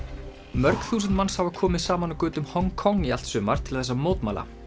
mörg þúsund manns hafa komið saman á götum Hong Kong í allt sumar til þess að mótmæla